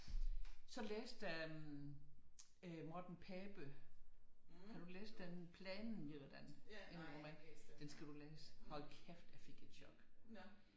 Så læste øh Morten Pape har du læst den Planen eller den roman den skal du læse hold kæft jeg fik et chok